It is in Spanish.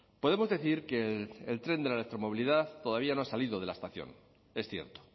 podemos decir que el tren de la electromovilidad todavía no ha salido de la estación es cierto